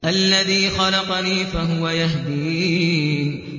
الَّذِي خَلَقَنِي فَهُوَ يَهْدِينِ